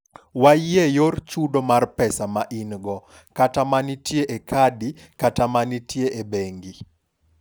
wayie yor chudo mar pesa ma ingo, kata manitie e kadi, kata kanitie e bengi